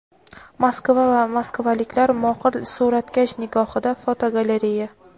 Moskva va moskvaliklar mohir suratkash nigohida (fotogalereya).